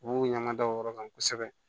U b'u ɲaŋa da o yɔrɔ kan kosɛbɛ